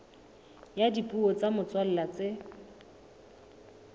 ya dipuo tsa motswalla tse